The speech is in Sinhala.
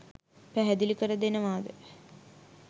පැහැදිලි කර දෙනවාද?